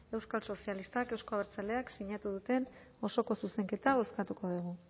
euskal sozialistak eta euzko abertzaleak sinatu duten osoko zuzenketa bozkatuko dugu